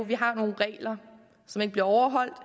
vi har nogle regler som ikke bliver overholdt